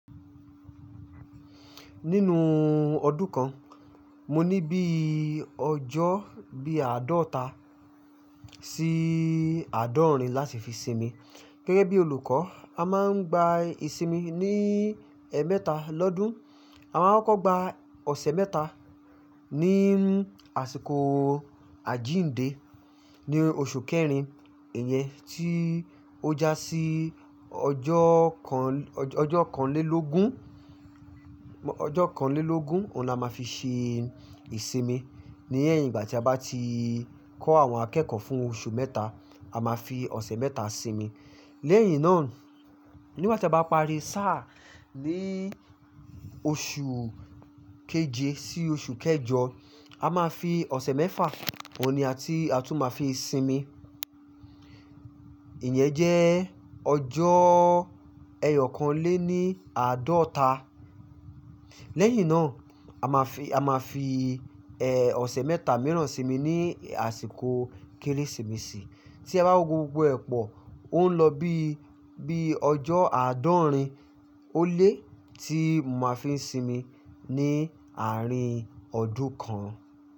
Nínú ọdún kan, mo ní bí ọjọ́ bí àádọ́ta sí àádọ́rin láti fi sinmi. Gẹ́gẹ́ bí olùkọ́, a máa ń gba ìsinmi ní ẹmẹta lọ́dún, a máa ń kọ gba ọ̀sẹ̀ mẹ́ta ní àsìkò àjíǹde ní oṣù kẹrin, ìyẹn tí ó já sí ọjọ́ kan, ọjọ́ kanlélógún, ọjọ́ kanlélógún, òun ni a máa fi ṣe ìsinmi. Ní ẹ̀yìn ìgbà tí a bá ti kọ́ àwọn akẹ́kọ̀ọ́ fún oṣù mẹ́ta, a máa fi ọ̀sẹ̀ mẹ́ta sinmi. Lẹ́yìn náà, nígbà tí a bá parí sáà ní oṣù keje sí oṣù kẹjọ, a máa fi ọ̀sẹ̀ mẹ́fà, òun ni a ti a tún máa fi sinmi. Ìyẹn jẹ́ ọjọ́ ẹyọ̀kan lé ní àádọ́ta. Lẹ́yìn náà, a máa fi, a máa fi, ẹ́, ọ̀sẹ̀ mẹ́ta mìíràn sinmi ní àsìkò Kérésìmesì. Tí a bá wo gbogbo ẹ́pọ̀, ó ń lọ bí, bí ọjọ́ àádọ́rin ó lé tí mo máa fi ń sinmi ní àárín ọdún kan.